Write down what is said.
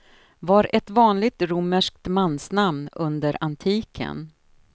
Var ett vanligt romerskt mansnamn under antiken.